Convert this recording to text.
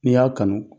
N'i y'a kanu